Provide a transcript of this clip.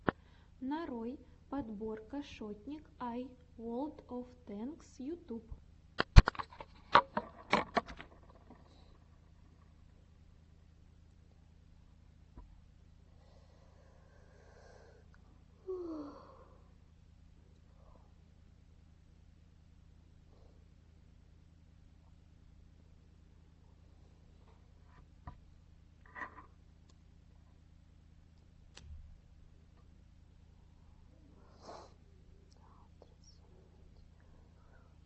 нарой подборка шотник ай волд оф тэнкс ютуб